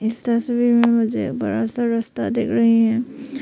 इस तस्वीर में मुझे बड़ा सा रस्ता दिख रही है।